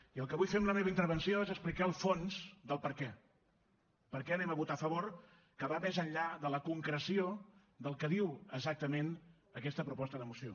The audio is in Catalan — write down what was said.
i el que vull fer amb la meva intervenció és explicar el fons del perquè per què anem a votar a favor que va més enllà de la concreció del que diu exactament aquesta proposta de moció